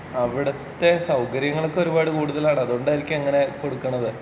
അവിടുത്തെ സൗകര്യങ്ങളൊക്കെ ഒരുപാട് കൂടുതലാണ് അത് കൊണ്ടായിരിക്കും അങ്ങനെ കൊടുക്കുന്നത്.